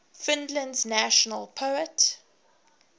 finland's national poet